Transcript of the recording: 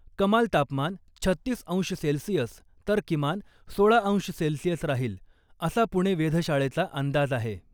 कमाल तापमान छत्तीस अंश सेल्सिअस तर किमान सोळा अंश सेल्सिअस राहील , असा पुणे वेधशाळेचा अंदाज आहे .